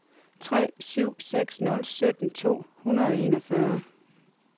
tre syv seks nul sytten to hundrede og enogfyrre